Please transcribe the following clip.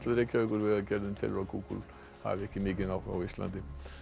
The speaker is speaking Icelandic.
Reykjavíkur vegagerðin telur að Google hafi ekki mikinn áhuga á Íslandi